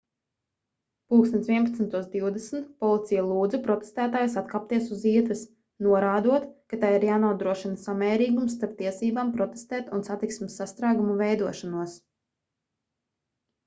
plkst 11:20 policija lūdza protestētājus atkāpties uz ietves norādot ka tai ir jānodrošina samērīgums starp tiesībām protestēt un satiksmes sastrēgumu veidošanos